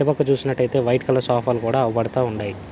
అటు పక్క చూసినట్టైతే వైట్ కలర్ సోఫా ని గూడా అవుపడతా ఉండాయి.